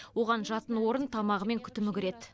оған жатын орын тамағы мен күтімі кіреді